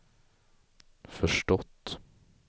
förstått